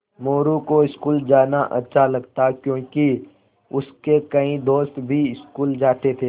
मोरू को स्कूल जाना अच्छा लगता क्योंकि उसके कई दोस्त भी स्कूल जाते थे